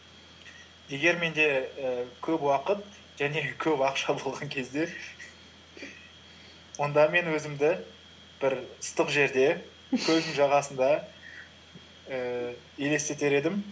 егер менде і көп уақыт және көп ақша болған кезде онда мен өзімді бір ыстық жерде көлдің жағасында ііі елестетер едім